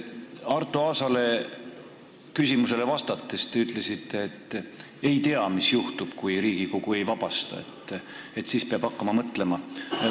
Arto Aasa küsimusele vastates te ütlesite, et ei tea, mis juhtub, kui Riigikogu teda ametist ei vabasta, et siis peab hakkama mõtlema.